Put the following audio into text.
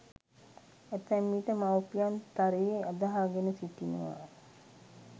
ඇතැම විට මවුපියන් තරයේ අදහාගෙන සිටිනවා